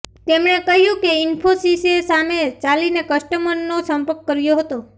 તેમણે કહ્યું કે ઈન્ફોસીસે સામે ચાલીને કસ્ટમરનો સંપર્ક કર્યો હતો